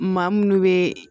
Maa munnu be